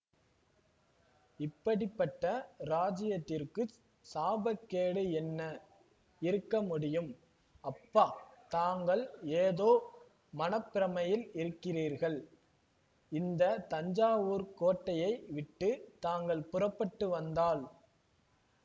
இப்படி பட்ட ராஜ்யத்திற்குச் சாபக்கேடு என்ன இருக்க முடியும் அப்பா தாங்கள் ஏதோ மன பிரமையில் இருக்கிறீர்கள் இந்த தஞ்சாவூர்க் கோட்டையை விட்டு தாங்கள் புறப்பட்டு வந்தால்